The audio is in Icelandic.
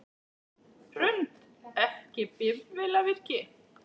Hrund: Ekki bifvélavirki?